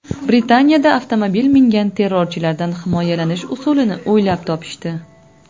Britaniyada avtomobil mingan terrorchilardan himoyalanish usulini o‘ylab topishdi.